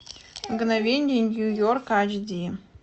мгновения нью йорка эйч ди